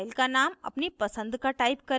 file का name अपनी पसंद का type करें